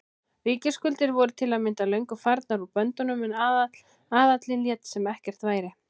Ríkisskuldir voru til að mynda löngu farnar úr böndunum en aðallinn lét sem ekkert væri.